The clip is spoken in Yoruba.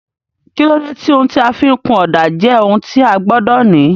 kílódé tí ohun tí a fi ń kun ọ̀dà jẹ́ ohun tí a gbọ́dọ̀ ní?